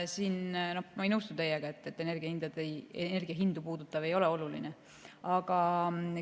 Nii et ma ei nõustu teiega, et energiahindu puudutav ei ole oluline.